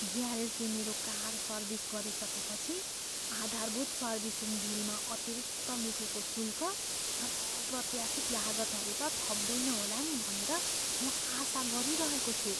ग्यारेजले मेरो car service गरिसकेपछि आधारभूत सर्भिसिङ बिलमा अतिरिक्त लुकेको शुल्क र अप्रत्याशित लागतहरू त थप्दैन होला नि भनेर म आशा गरिरहेको छु।